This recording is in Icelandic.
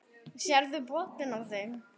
Sérðu botninn á þeim.